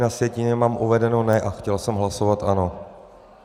Na sjetině mám uvedeno ne a chtěl jsem hlasovat ano.